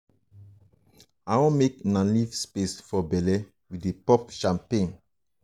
i wan make una leave space for bele we dey pop champagne